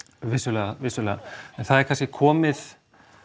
vissulega vissulega en það er kannski komið